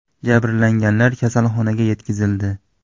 Jabrlanganlar kasalxonaga yetkazildi.